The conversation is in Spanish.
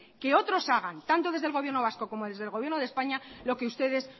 que otros hagan tanto desde el gobierno vasco como desde el gobierno de españa lo que ustedes